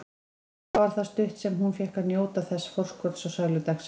Hvað það var stutt sem hún fékk að njóta þessa forskots á sælu dagsins.